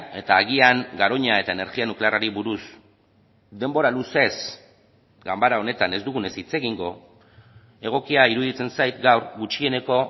eta agian garoña eta energia nuklearrari buruz denbora luzez ganbara honetan ez dugunez hitz egingo egokia iruditzen zait gaur gutxieneko